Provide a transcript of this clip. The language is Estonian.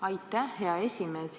Aitäh, hea esimees!